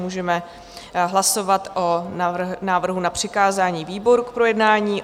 Můžeme hlasovat o návrhu na přikázání výboru k projednání.